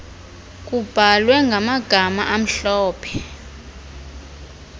kubhalwe ngamagama amhlophe